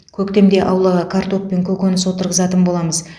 көктемде аулаға картоп пен көкөніс отырғызатын боламыз